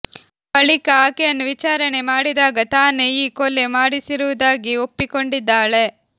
ಬಳಿಕ ಆಕೆಯನ್ನು ವಿಚಾರಣೆ ಮಾಡಿದಾಗ ತಾನೇ ಈ ಕೊಲೆ ಮಾಡಿಸಿರುವುದಾಗಿ ಒಪ್ಪಿಕೊಂಡಿದ್ದಾಳೆ